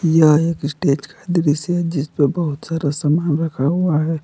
यह एक स्टेज का दृश्य है जिसपे बहुत सारा सामान रखा हुआ है।